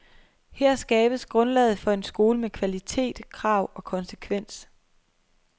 Her skabes grundlaget for en skole med kvalitet, krav og konsekvens.